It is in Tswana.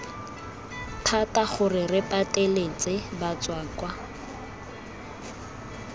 thata gore re pateletse batswakwa